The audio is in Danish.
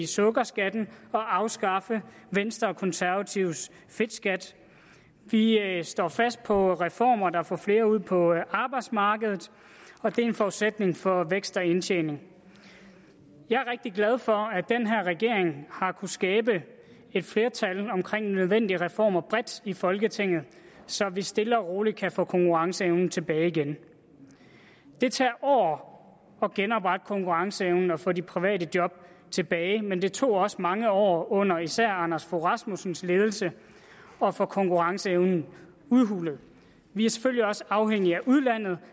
sukkerskatten og afskaffe venstre og konservatives fedtskat vi står fast på reformer der får flere ud på arbejdsmarkedet og det er en forudsætning for vækst og indtjening jeg er rigtig glad for at den her regering har kunnet skabe et flertal omkring nødvendige reformer bredt i folketinget så vi stille og roligt kan få konkurrenceevnen tilbage igen det tager år at genoprette konkurrenceevnen og få de private job tilbage men det tog også mange år under især anders fogh rasmusssens ledelse at få konkurrenceevnen udhulet vi er selvfølgelig også afhængige af udlandet